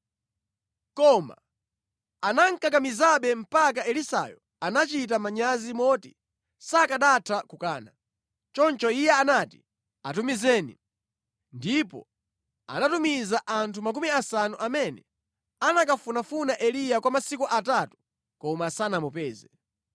Koma anamukakamizabe mpaka Elisayo anachita manyazi moti sakanatha kukana. Choncho iye anati, “Atumizeni.” Ndipo anatumiza anthu makumi asanu amene anakafunafuna Eliya kwa masiku atatu koma sanamupeze.